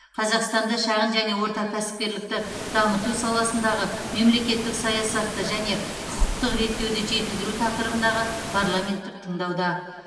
қазақстанда шағын және орта кәсіпкерлікті дамыту саласындағы мемлекеттік саясатты және құқықтық реттеуді жетілдіру тақырыбындағы парламенттік тыңдауда